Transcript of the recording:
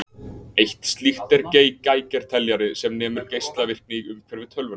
Eitt slíkt er Geigerteljari, sem nemur geislavirkni í umhverfi tölvunnar.